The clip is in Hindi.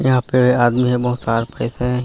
यह पे आदमी है बहुत तार फसे है।